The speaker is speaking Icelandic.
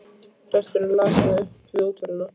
Presturinn las það upp við útförina.